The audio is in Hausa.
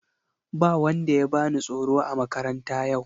Ba wanda ya bani tsoro a makaranta yau.